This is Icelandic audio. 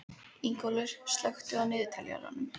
Ingólfur, slökktu á niðurteljaranum.